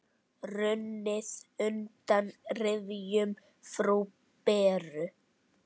Runnið undan rifjum frú Beru.